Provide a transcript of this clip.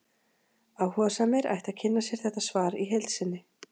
Áhugasamir ættu að kynna sér þetta svar í heild sinni.